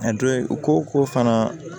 A dɔ ye u ko ko fana